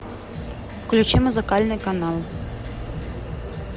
включи музыкальный канал